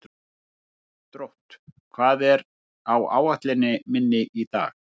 Drótt, hvað er á áætluninni minni í dag?